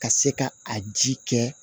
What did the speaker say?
Ka se ka a ji kɛ